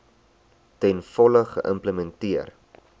ten volle geïmplementeer